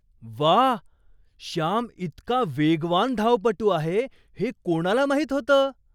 वा! श्याम इतका वेगवान धावपटू आहे हे कोणाला माहीत होतं?